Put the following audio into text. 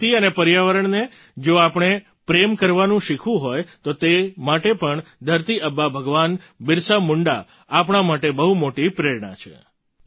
પ્રકૃતિ અને પર્યાવરણને જો આપણે પ્રેમ કરવાનું શીખવું હોય તો તે માટે પણ ધરતી આબા ભગવાન બિરસા મુંડા આપણા માટે બહુ મોટી પ્રેરણા છે